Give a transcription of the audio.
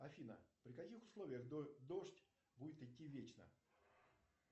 афина при каких условиях дождь будет идти вечно